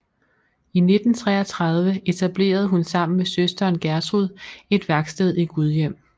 I 1933 etablerede hun sammen med søsteren Gertrud et værksted i Gudhjem